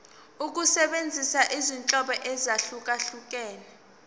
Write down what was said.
ukusebenzisa izinhlobo ezahlukehlukene